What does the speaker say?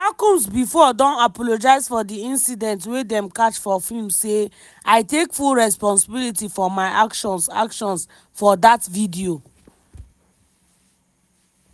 oga combs bifor don apologise for di incident wey dem catch for film say: "i take full responsibility for my actions actions for dat video.